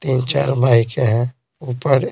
तीन- चार बाइक है ऊपर--